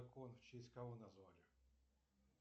в честь кого назвали